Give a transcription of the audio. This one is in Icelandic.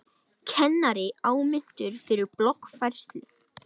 Kennari áminntur fyrir bloggfærslu